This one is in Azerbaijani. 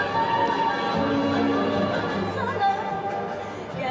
Tələbələr yerlərini alır.